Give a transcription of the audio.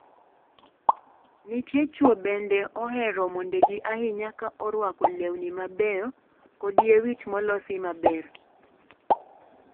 Nitie chwo bende ohero mondegi ahinya ka orwako lewni mabeyo kod yie wich molosi maber.